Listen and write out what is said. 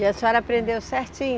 E a senhora aprendeu certinho?